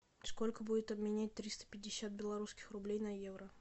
сколько будет обменять триста пятьдесят белорусских рублей на евро